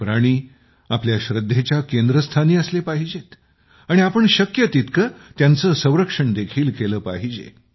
हे प्राणी आपल्या श्रद्धेच्या केंद्रस्थानी असले पाहिजेत आणि आपण शक्य तितके त्यांचे संरक्षण देखील केले पाहिजे